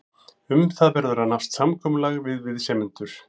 Um það verður að nást samkomulag við viðsemjendur.